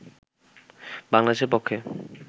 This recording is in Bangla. বাংলাদেশের পক্ষে